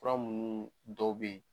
Fura munnu dɔ bɛ yen